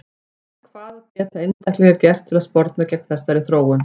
En hvað geta einstaklingar gert til að sporna gegn þessari þróun?